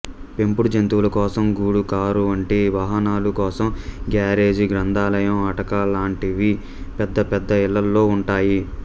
పెంపుడు జంతువుల కోసం గూడు కారు వంటి వాహనాల కోసం గేరేజి గ్రంథాలయం అటక లాంటివి పెద్దపెద్ద ఇళ్ళల్లో ఉంటాయి